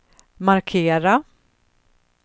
markera